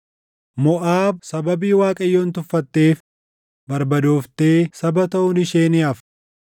Moʼaab sababii Waaqayyoon tuffatteef barbadooftee saba taʼuun ishee ni hafa.